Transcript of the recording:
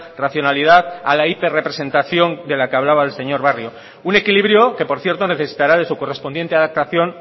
racionalidad a la hiperrepresentación de la que hablaba el señor barrio un equilibrio que por cierto necesitará de su correspondiente adaptación